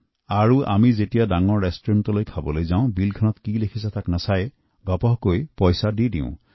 আৰু আমাৰ দৰে লোকে যেতিয়া কোনো ডাঙৰ ৰেষ্টুৰেণ্টত খাবলৈ যায় তেতিয়া বিলত কি লিখা আছে তাকো নেদেখাকৈ লগে লগে টকা উলিয়াই দিয়ে